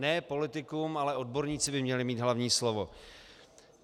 Ne politikum, ale odborníci by měli mít hlavní slovo.